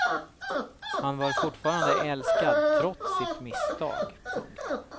Han var fortfarande älskad trots sitt misstag. punkt